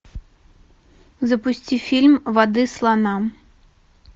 запусти фильм воды слонам